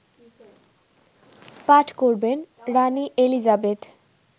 পাঠ করবেন রানি এলিজাবেথ